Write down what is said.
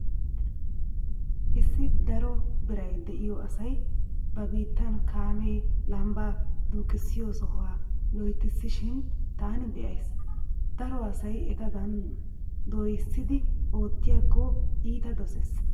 Issi daro biray diyo asay ba biittan kaamee lambbaa duuqissiyo soha loytissishin taani be'ays. Daro asay etadan dooyissidi oottiyakko iita dosees.